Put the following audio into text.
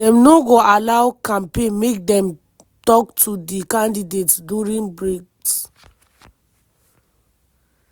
dem no go allow ccmpaign make dem tok to di candidates during breaks.